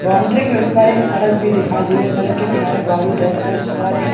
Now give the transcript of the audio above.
boundary के उस पार एक सड़क भी दिखाई दिए सड़क के किनारे बारूद है तथा उस पार एक--